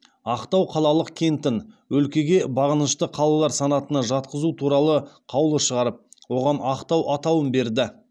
ақтау қалалық кентін өлкеге бағынышты қалалар санатына жатқызу туралы қаулы шығарып оған ақтау атауын берді